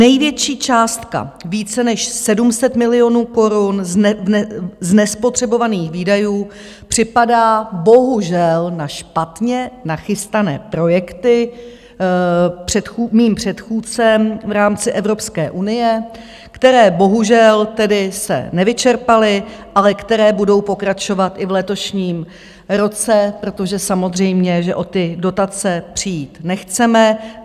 Největší částka, více než 700 milionů korun z nespotřebovaných výdajů, připadá bohužel na špatně nachystané projekty mým předchůdcem v rámci Evropské unie, které bohužel tedy se nevyčerpaly, ale které budou pokračovat i v letošním roce, protože samozřejmě že o ty dotace přijít nechceme.